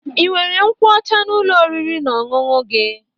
Ị nwere nkwụ ọcha n'Ụlọ oriri na ọṅụṅụ gi?